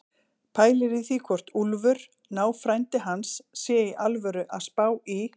Pælir í því hvort Úlfur, náfrændi hans, sé í alvöru að spá í